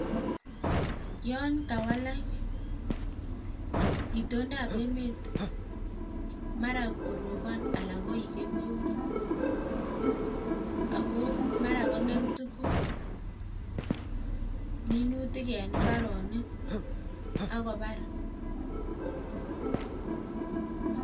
Yon kawalak itondap emet mara korobon ala koik kemeut ako mara kongem tukuk minutik en imbaronik akobar.